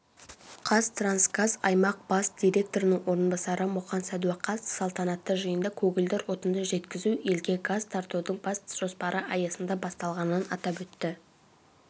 қазтрансгаз аймақ бас директорының орынбасары мұқан сәдуақасов салтанатты жиында көгілдір отынды жеткізу елге газ тартудың бас жоспары аясында басталғанын атап өтті